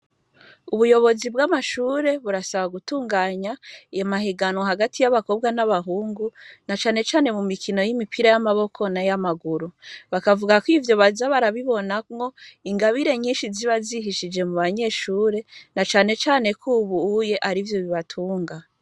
Ubuyobozi bw'amashure burasaba gutunganya iyo mahiganwa hagati y'abakobwa n'abahungu na canecane mu mikino y'imipira y'amaboko na y'amaguru, bakavuga ko ivyo baza barabibonamwo ingabire nyinshi ziba zihishije mu banyeshure na canecane ko ubuye ari vyo bibatunga.